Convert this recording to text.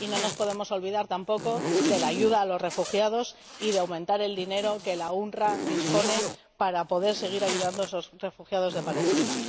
Y no nos podemos olvidar tampoco de la ayuda a los refugiados y de aumentar el dinero de que dispone la UNRWA para poder seguir ayudando a los refugiados de Palestina.